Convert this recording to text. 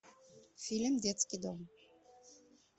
фильм детский дом